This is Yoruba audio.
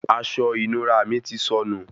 Aṣọ ìnura mí tí sọnù